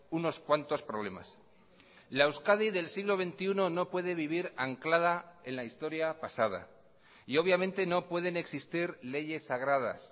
unos cuantos problemas la euskadi del siglo veintiuno no puede vivir anclada en la historia pasada y obviamente no pueden existir leyes sagradas